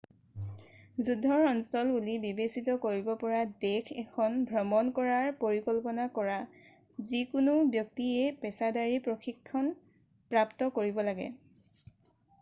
যুদ্ধ্বৰ অঞ্চল বুলি বিবেচিত কৰিব পৰা দেশ এখন ব্ৰমণ কৰাৰ পৰিকল্পনা কৰা যিকোনো ব্যক্তিয়েই পেচাদাৰী প্ৰশিক্ষণ প্ৰাপ্ত কৰিব লাগে